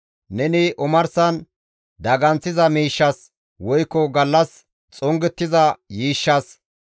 Neni omarsan daganththiza miishshas, woykko gallas xongettiza yiishshas,